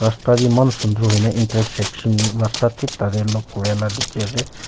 rasta b eman sundur hui na intersection rasta thik tade lok kure la dikhi ase.